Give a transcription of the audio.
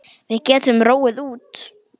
Við getum róið út.